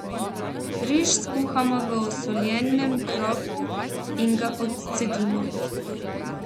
Riž skuhamo v osoljenem kropu in ga odcedimo.